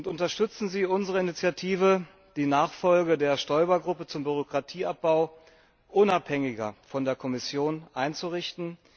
Unterstützen Sie unsere Initiative, die Nachfolge der Stoiber Gruppe zum Bürokratieabbau unabhängiger von der Kommission einzurichten!